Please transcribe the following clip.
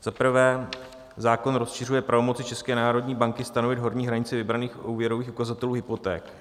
Za prvé zákon rozšiřuje pravomoci České národní banky stanovit horní hranici vybraných úvěrových ukazatelů hypoték.